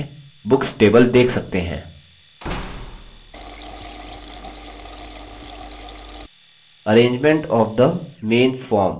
arrangement of the main form नामक label के नीचे चार icons पर click करें